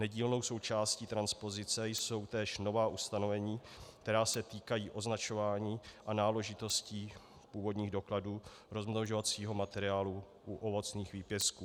Nedílnou součástí transpozice jsou též nová ustanovení, která se týkají označování a náležitostí průvodních dokladů rozmnožovacího materiálu u ovocných výpěstků.